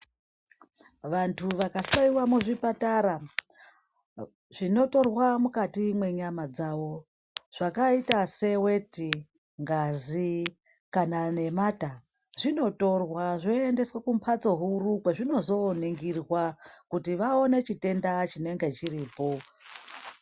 Vantu vakahloiwa muzvipatara zvinotorwa mukati menyama dzavo zvakaita seweti, ngazi kana nemata, zvinitorwa zvoendeswa kumhatso huru zvinozoningirwa kuti vaone chitenda chinenge chiripo.